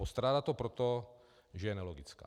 Postrádá to proto, že je nelogická.